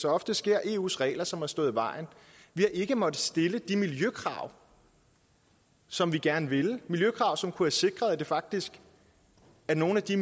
ofte sker er eus regler som har stået i vejen vi har ikke måttet stille de miljøkrav som vi gerne ville miljøkrav som kunne have sikret at det faktisk var nogle af de